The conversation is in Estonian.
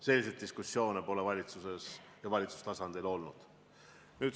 Selliseid diskussioone pole valitsuses või valitsustasandil olnud.